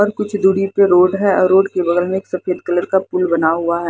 और कुछ दूरी पर रोड है और रोड के बगल में एक सफेद कलर का पुल बना हुआ है।